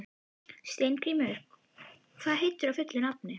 Steingrímur, hvað heitir þú fullu nafni?